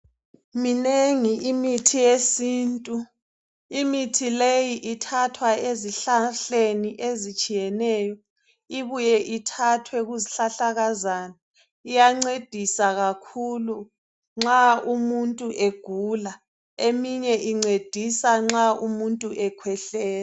Minengi imithi yesintu imithi leyi ithathwa ezihlahleni ezitshiyeneyo ibuye ithathwe kuzihlahlakazana iyancedisa kakhulu nxa umuntu egula eminye incedisa nxa umuntu ekhwehlela.